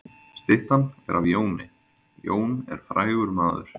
Styttan er af Jóni. Jón er frægur maður.